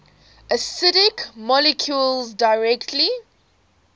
acidic molecules directly